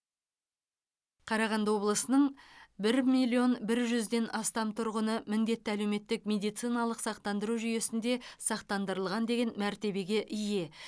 қарағанды облысының бір миллион бір жүзден астам тұрғыны міндетті әлеуметтік медициналық сақтандыру жүйесінде сақтандырылған деген мәртебеге ие